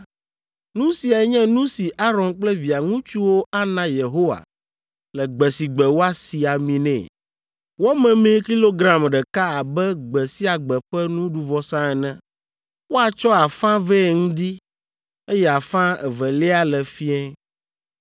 “Nu siae nye nu si Aron kple via ŋutsuwo ana Yehowa le gbe si gbe woasi ami nɛ: wɔ memee kilogram ɖeka abe gbe sia gbe ƒe nuɖuvɔsa ene. Woatsɔ afã vɛ ŋdi, eye afã evelia le fiẽ.